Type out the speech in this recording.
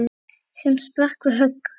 sem sprakk við högg.